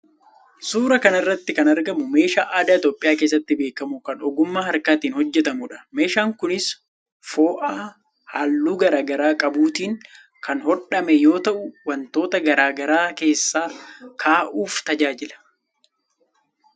Suuraa kana irratti kan argamu meeshaa aadaa Itiyoophiyaa keessatti beekamu kan ogummaa harkaatiin hojjetamuudha. Meeshaan kunis fo'aa halluu garaa garaa qabuutiin kan hodhame yoo ta'u wantoota garaa garaa keessa kaa'uuf tajaajila.